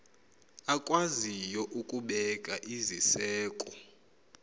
akwaziyo ukubeka iziseko